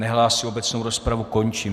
Nehlásí, obecnou rozpravu končím.